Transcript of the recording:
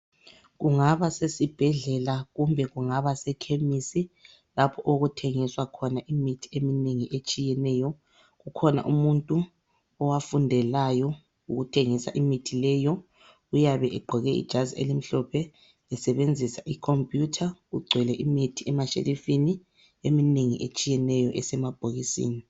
Kungaba sesibhedlela kumbe kungaba sekhemisi lapho okuthengiswa khona imithi eminengi etshiyeneyo, kukhona umuntu owafundelayo ukuthengisa imithi leyo uyabe egqoke ijazi elimhlophe esebenzisa icomputer kugcwele imithi emashelifini eminengi etshiyeneyo esemabhokisini.